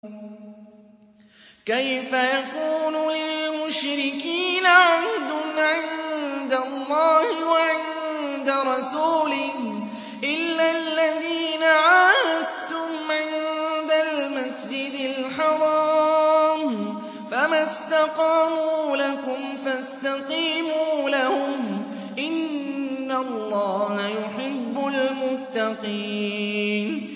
كَيْفَ يَكُونُ لِلْمُشْرِكِينَ عَهْدٌ عِندَ اللَّهِ وَعِندَ رَسُولِهِ إِلَّا الَّذِينَ عَاهَدتُّمْ عِندَ الْمَسْجِدِ الْحَرَامِ ۖ فَمَا اسْتَقَامُوا لَكُمْ فَاسْتَقِيمُوا لَهُمْ ۚ إِنَّ اللَّهَ يُحِبُّ الْمُتَّقِينَ